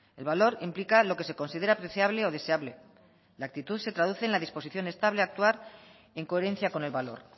el valor implica lo que se considera apreciable o deseable la actitud se traduce en la disposición estable a actuar en coherencia con el valor